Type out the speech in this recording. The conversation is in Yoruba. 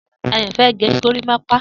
Dayo fẹ̀ gẹ górimàpà